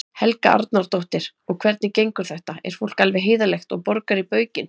Helga Arnardóttir: Og hvernig gengur þetta, er fólk alveg heiðarlegt og, og borgar í baukinn?